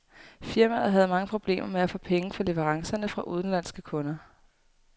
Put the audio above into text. Firmaet havde mange problemer med at få penge for leverancerne fra udenlandske kunder.